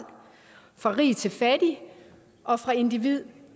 fra rig til fattig og fra individ